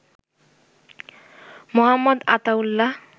Md. Ataullah